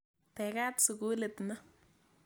Tegat sukulit ni.